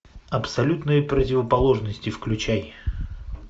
абсолютные противоположности включай